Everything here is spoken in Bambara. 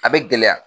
A bɛ gɛlɛya